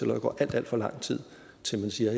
der går alt alt for lang tid indtil man siger